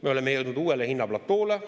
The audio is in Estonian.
Me oleme jõudnud uuele hinnaplatoole.